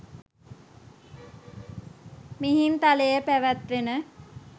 මිහින්තලේ පැවැත්වෙන